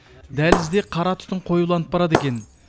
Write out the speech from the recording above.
дәлізде қара түтін қоюланып барады екен